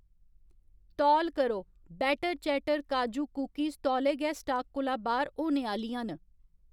तौल करो, बैटर चैटर काजू कुकिस तौले गै स्टाक कोला बाह्‌र होने आह्‌लियां न